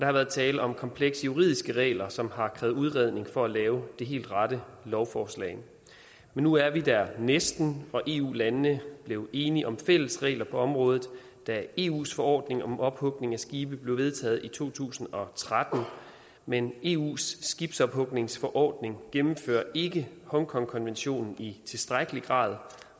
har været tale om komplekse juridiske regler som har krævet udredning for at lave det helt rette lovforslag men nu er vi der næsten og eu landene blev enige om fælles regler på området da eus forordning om ophugning af skibe blev vedtaget i to tusind og tretten men eus skibsophugningsforordning gennemfører ikke hongkongkonventionen i tilstrækkelig grad